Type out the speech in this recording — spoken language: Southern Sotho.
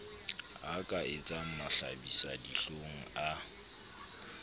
ya ka etsang mahlabisadihlong a